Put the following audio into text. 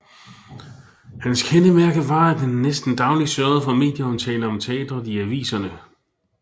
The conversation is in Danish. Hans kendemærke var at han næsten daglig sørgede for medieomtale om teatret i aviserne